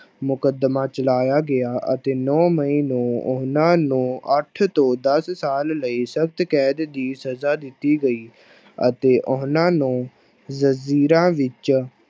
ਮੁਕੱਦਮਾ ਚਲਾਇਆ ਗਿਆ ਅਤੇ ਨੋਂ ਮਈ ਨੂੰ ਉਹਨਾਂ ਨੂੰ ਅੱਠ ਤੋਂ ਦਸ ਸਾਲ ਲਈ ਸਖ਼ਤ ਕੈਦ ਦੀ ਸਜ਼ਾ ਦਿੱਤੀ ਗਈ, ਅਤੇ ਉਹਨਾਂ ਨੂੰ ਜ਼ੰਜ਼ੀਰਾਂ ਵਿੱਚ